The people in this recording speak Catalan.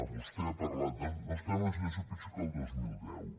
vostè ha parlat de no estem en una situació pitjor que el dos mil deu